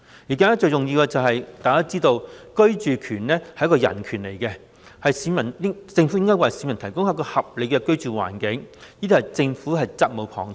大家都知道，居住權是人權，政府為市民提供合理的居住環境屬責無旁貸。